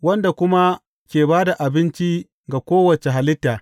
Wanda kuma ke ba da abinci ga kowace halitta.